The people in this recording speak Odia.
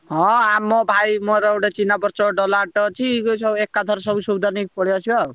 ହଁ ଆମ ଭାଇ ମୋର ଗୋଟେ ଚିହ୍ନା ପରିଚୟ ଡ଼ାଲାଅଟୋ ଅଛି। ସେ ସ ଏକାଥରେ ସବୁ ସଉଦା ନେଇ ପଳେଇଆସିବା ଆଉ।